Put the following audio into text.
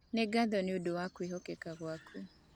Nĩ ngatho nĩ ũndũ wa wĩhokeku waku.